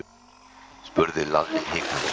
spurði Lalli hikandi.